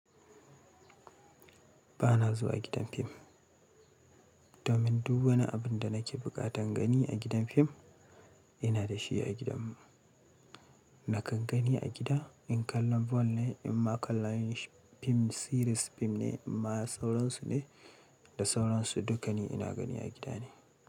Ba na zuwa gidan fim. Domin duk wani abun da nake buƙatan gani a gidan fim, ina da shi a gidanmu. Nakan gani a gida in kallon ball ne in ma kallon fim series fim ne in ma sauransu ne, da sauransu duk gani ina gani a gida ne.